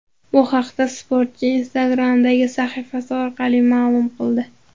Bu haqda sportchi Instagram’dagi sahifasi orqali ma’lum qildi .